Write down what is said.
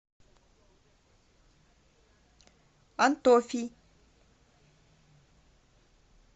антофий